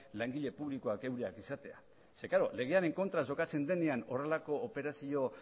langile publikoak eurek izatea legearen kontra jokatzen denean horrelako operazio